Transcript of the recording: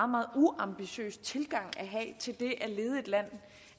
meget uambitiøs tilgang at have til det at lede et land